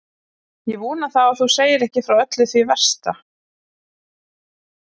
Ég vona þá að þú segir ekki frá öllu því versta.